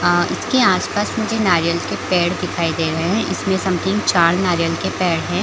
अ उसके आस-पास मुझे नारियल के पेड़ दिखाई दे रहे है इसमें समथिंग चार नारियल के पेड़ है।